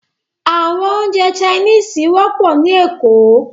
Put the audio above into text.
Àwọn oúnjẹ Chinese wọ́pọ̀ ní Lagos